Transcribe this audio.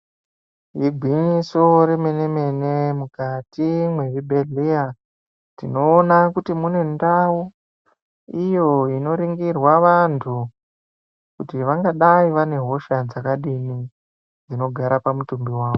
Igwinyiso remenemene, mukati mwezvibhehlera tinoona kuti mune ndau iyo inoringirwa vanhu kuti vangadai vane hosha dzakadini dzinogara pamutumbi wavo.